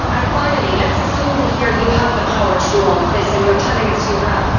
Finally, let us assume here you have the power to do all of this and you are telling us you have